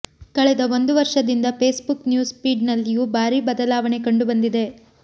ಕಳೆದ ಒಂದು ವರ್ಷದಿಂದ ಫೇಸ್ ಬುಕ್ ನ್ಯೂಸ್ ಫೀಡ್ ನಲ್ಲಿಯೂ ಭಾರೀ ಬದಲಾವಣೆ ಕಂಡುಬಂದಿದೆ